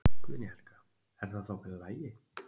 Guðný Helga: Er það þá bara allt í lagi?